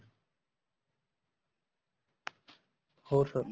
ਹੋਰ sir